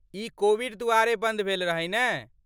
ई Covid दुआरे बन्द भेल रहै, नै ?